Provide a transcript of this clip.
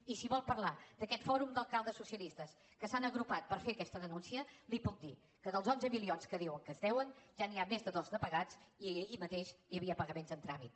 i si vol parlar d’aquest fòrum d’alcaldes socialistes que s’han agrupat per fer aquesta denúncia li puc dir que dels onze milions que diuen que es deuen ja n’hi ha més de dos de pagats i ahir mateix hi havia pagaments en tràmit